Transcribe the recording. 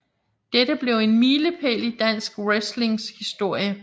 Dette blev en milepæl i Dansk Wrestling historie